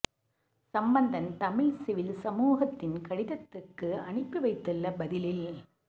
Sampanthan Tamil civil சமூகத்தின் கடிதத்துக்கு அனுப்பி வைத்துள்ள பதிலில்